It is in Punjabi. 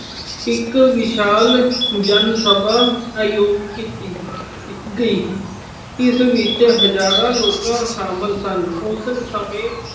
ਇੱਕ ਵਿਸ਼ਾਲ ਜਨ ਸਭਾ ਆਯੋਜਿਤ ਕੀਤੀ ਗਈ। ਇਸ ਵਿੱਚ ਹਜਾਰਾਂ ਲੋਕ ਸ਼ਾਮਲ ਸਨ। ਉਸ ਸਮੇਂ